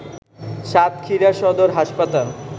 সাতক্ষীরা সদর হাসপাতাল